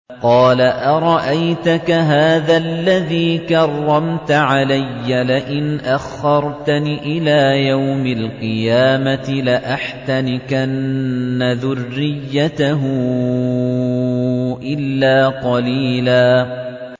قَالَ أَرَأَيْتَكَ هَٰذَا الَّذِي كَرَّمْتَ عَلَيَّ لَئِنْ أَخَّرْتَنِ إِلَىٰ يَوْمِ الْقِيَامَةِ لَأَحْتَنِكَنَّ ذُرِّيَّتَهُ إِلَّا قَلِيلًا